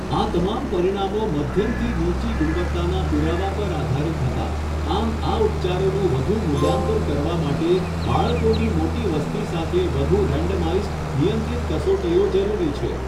આ તમામ પરિણામો મધ્યમથી નીચી ગુણવત્તાના પુરાવા પર આધારિત હતા, આમ આ ઉપચારોનું વધુ મૂલ્યાંકન કરવા માટે બાળકોની મોટી વસ્તી સાથે વધુ રેન્ડમાઇઝ્ડ, નિયંત્રિત કસોટીઓ જરૂરી છે.